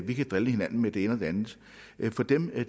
vi kan drille hinanden med det ene og det andet for for dem er